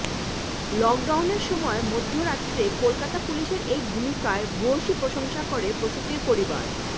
লকডাউনের সময় মধ্যরাতে কলকাতা পুলিশের এই ভূমিকার ভূয়সী প্রশংসা করে প্রসূতির পরিবার